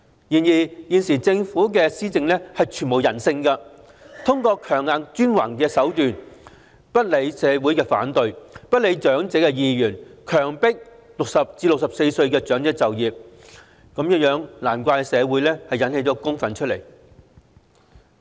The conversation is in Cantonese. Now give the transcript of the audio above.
然而，現時政府的施政全無人性，通過強硬專橫的手段，不理社會反對和長者意願，強迫60歲至64歲的長者就業，難怪引起社會公憤。